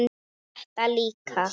og þetta líka